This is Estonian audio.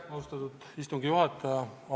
Austatud istungi juhataja!